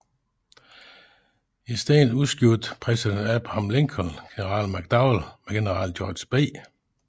I stedet udskiftede præsident Abraham Lincoln general McDowell med general George B